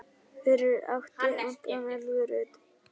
Fyrir átti Anton Elvu Rut.